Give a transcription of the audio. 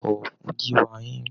Bọ̀wọ̀ fún gíwá yín.